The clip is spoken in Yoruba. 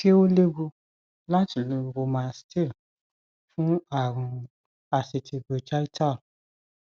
ṣé ó léwu láti lo romilastl fún àrùn asítì bronchital